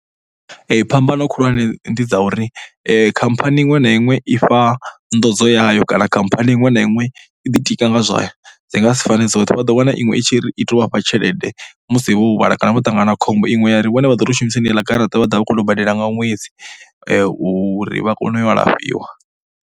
Phambano khulwane ndi dza uri khamphani iṅwe na iṅwe i fha nḓonzo yayo kana khamphani iṅwe na iṅwe i ḓitika nga zwayo. Dzi nga si fane dzoṱhe. Vha ḓo wana iṅwe i tshi ri i tou vha fha tshelede musi vho huvhala kana vho ṱangana na khombo. Iṅwe ya ri vhone vha ḓo tou shumisa heneiḽa garaṱa vhone vha ḓo vha vha khou tou badela nga ṅwedzi uri vha kone u ya u alafhiwa.